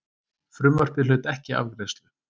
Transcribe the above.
Frumvarpið hlaut ekki afgreiðslu.